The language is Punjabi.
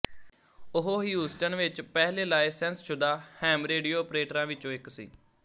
ਉਹ ਹਿਊਸਟਨ ਵਿੱਚ ਪਹਿਲੇ ਲਾਇਸੈਂਸਸ਼ੁਦਾ ਹੈਮ ਰੇਡੀਓ ਅਪਰੇਟਰਾਂ ਵਿੱਚੋਂ ਇੱਕ ਸੀ